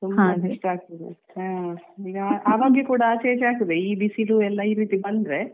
ಆರೋಗ್ಯ ಕೂಡ ಆಚೆ ಈಚೆ ಆಗ್ತದೆ ಬಿಸಿಲು ಎಲ್ಲಾ ಈ ರೀತಿ ಬಂದ್ರೆ